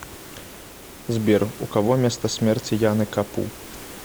сбер у кого место смерти яны капу